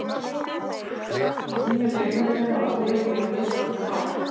Nýju leikmennirnir hafa hrifið mig á mismunandi hátt.